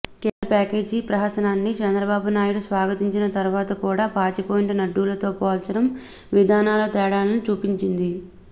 కేంద్ర ప్యాకేజీ ప్రహసనాన్ని చంద్రబాబు నాయుడు స్వాగతించిన తర్వాత కూడా పాచిపోయిన లడ్డూలతో పోల్చడం విధానాల తేడాను చూపించింది